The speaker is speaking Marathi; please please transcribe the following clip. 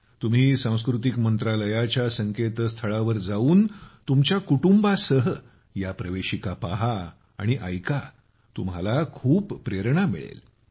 तुम्ही सांस्कृतिक मंत्रालयाच्या संकेतस्थळावर जाऊन तुमच्या कुटुंबासह या प्रवेशिका पहा आणि ऐका तुम्हाला खूप प्रेरणा मिळेल